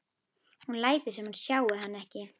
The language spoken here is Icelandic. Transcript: Hún lætur sem hún sjái hann ekki.